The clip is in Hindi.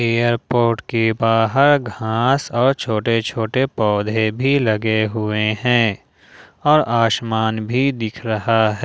एयरपोर्ट के बाहर घास और छोटे छोटे पौधे भी लगे हुए हैं और आसमान भी दिख रहा है।